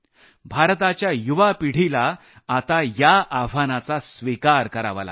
भारताच्या युवा पिढीला आता या आव्हानाचा स्विकार करावा लागेल